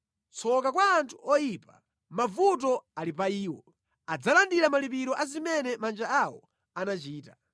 Tsoka kwa anthu oyipa! Mavuto ali pa iwo! Adzalandira malipiro a zimene manja awo anachita.